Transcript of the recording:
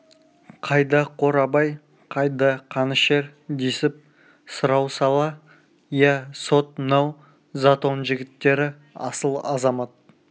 қайда қорабай қайда қанішер десіп сұрау сала ия сот мынау затон жігіттері асыл азамат